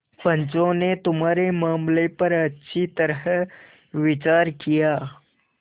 पंचों ने तुम्हारे मामले पर अच्छी तरह विचार किया